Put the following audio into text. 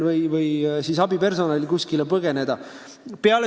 Aga patsiendil pole võimalik kuhugi põgeneda.